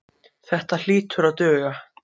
Þetta hlýtur að duga.